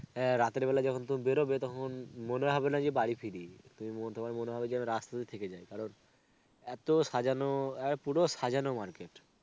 হ্যাঁ রাতের বেলায় যখন তুমি বেড়োবে তখন মনে হবে না যে বাড়ি ফিরি ~তোমার মনে হবে যেন রাস্তাতেই থেকে যাই কারণ এতো সাজানো, এ পুরো সাজানো market.